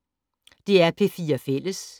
DR P4 Fælles